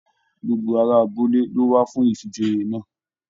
Gbogbo ará abúlé lo wá fún ifíjòyè náà.